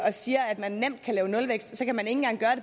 og siger at man nemt kan lave nulvækst